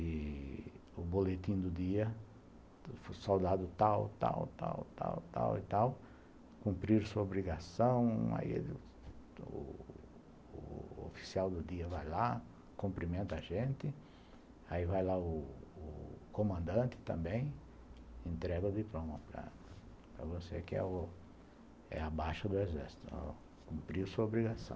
e o boletim do dia, o soldado tal, tal, tal, tal, tal e tal, cumprir sua obrigação, aí o p oficial do dia vai lá, cumprimenta a gente, aí vai lá o p comandante também, entrega de diploma para você que é a baixa do exército, cumpriu a sua obrigação.